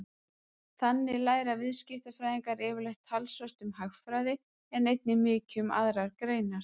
Þannig læra viðskiptafræðingar yfirleitt talsvert um hagfræði en einnig mikið um aðrar greinar.